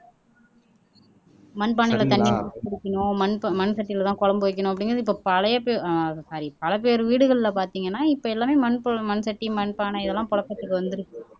மண்பானையில தண்ணி ஊத்தி குடிக்கணும் மண்ப மண்சட்டியிலதான் குழம்பு வைக்கணும் அப்படிங்கிறது இப்ப பழைய ஆஹ் சாரி பல பேர் வீடுகள்ல பார்த்தீங்கன்னா இப்ப எல்லாமே மண் கு மண் சட்டி மண்பானை இது எல்லாம் புழக்கத்துக்கு வந்திருக்கு